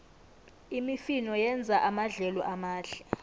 imifino yenza amadlelo amahle